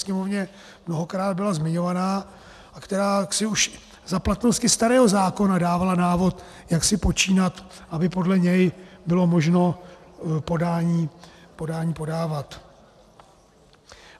Sněmovně mnohokrát byla zmiňovaná a která jaksi už za platnosti starého zákona dávala návod, jak si počínat, aby podle něj bylo možno podání podávat.